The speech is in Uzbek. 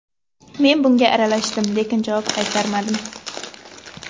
Men bunga aralashdim, lekin javob qaytarmadim.